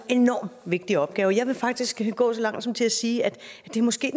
enormt vigtig opgave jeg vil faktisk gå så langt som til at sige at det måske